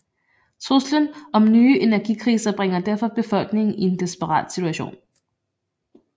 Truslen om nye energikriser bringer derfor befolkningen i en desperat situation